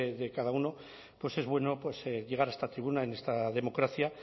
de cada uno pues es bueno llegar a esta tribuna en esta democracia